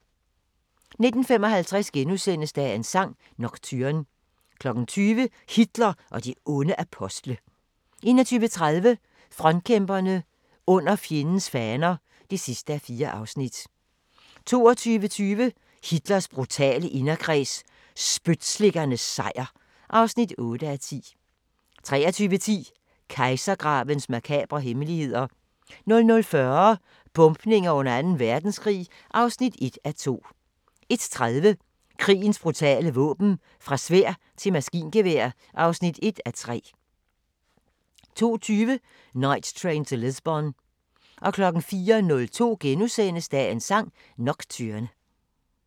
19:55: Dagens sang: Nocturne * 20:00: Hitler og de onde apostle 21:30: Frontkæmperne: Under fjendens faner (4:4) 22:20: Hitlers brutale inderkreds – spytslikkernes sejr (8:10) 23:10: Kejsergravens makabre hemmeligheder 00:40: Bombninger under Anden Verdenskrig (1:2) 01:30: Krigens brutale våben - fra sværd til maskingevær (1:3) 02:20: Night Train to Lisbon 04:02: Dagens sang: Nocturne *